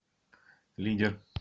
лидер